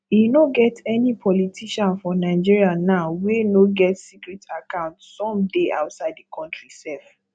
e no get any politician for nigeria now wey no get secret account some dey outside the country sef